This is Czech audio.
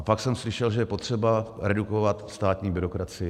A pak jsem slyšel, že je potřeba redukovat státní byrokracii.